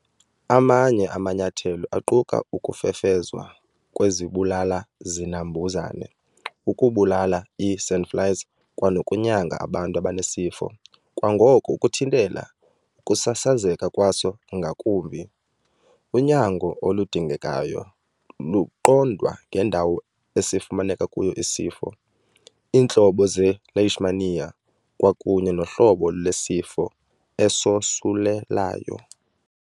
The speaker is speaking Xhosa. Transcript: Amanye amanyathelo aquka ukufefezwa kwezibulala-zinambuzane ukubulala ii-sandflies kwanokunyanga abantu abanesifo kwangoko ukuthintela ukusasazeka kwaso ngakumbi. Unyango oludingekayo luqondwa ngendawo esifumaneke kuyo isifo, iintlobo ze-Leishmania, kwakunye nohlobo lwesifo esosulelayo.